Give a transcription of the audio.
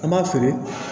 An b'a feere